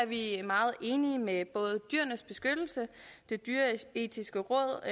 vi meget enige med både dyrenes beskyttelse og det dyreetiske råd